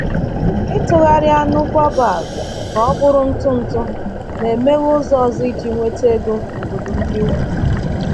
Ịtụgharị anụ baobab ka ọ bụrụ ntụ ntụ na-emeghe ụzọ ọzọ iji nweta ego n’obodo ndị ugwu.